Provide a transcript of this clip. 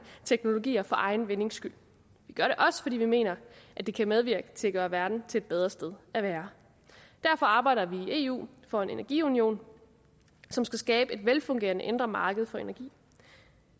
teknologier for egen vindings skyld vi gør det også fordi vi mener det kan medvirke til at gøre verden til et bedre sted at være derfor arbejder vi i eu for en energiunion som skal skabe et velfungerende indre marked for energi